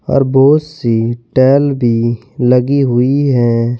और बहुत सी टेल भी लगी हुई है।